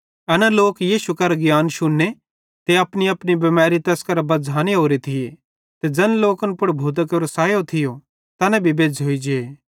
एन लोक यीशु करां ज्ञान शुन्ने ते अपनीअपनी बिमैरी तैस कां बझ़ांने ओरे थिये ते ज़ैन लोकन पुड़ भूतां केरे सैये सेइं दुखे मां थिये तैना भी बेज़्झ़ोइ जे